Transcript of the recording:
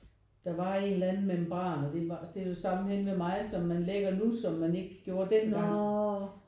Der var en eller anden membran og det var det er det samme henne ved mig som man lægger nu som man ikke gjorde dengang